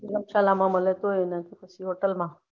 લોકશાલા મલે તોય અને hotel માં